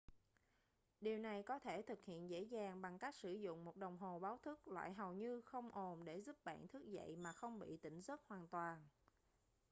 điều này có thể thực hiện dễ dàng bằng cách sử dụng một đồng hồ báo thức loại hầu như không ồn để giúp bạn thức dậy mà không bị tỉnh giấc hoàn toàn